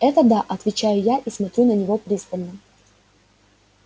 это да отвечаю я и смотрю на него пристально